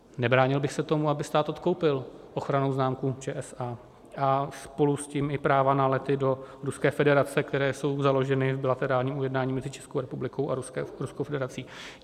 Nebránil bych se tomu, aby stát odkoupil ochrannou známku ČSA a spolu s tím i práva na lety do Ruské federace, které jsou založeny v bilaterálním ujednání mezi Českou republikou a Ruskou federací.